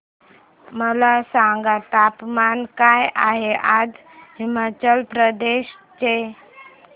मला सांगा तापमान काय आहे आज हिमाचल प्रदेश चे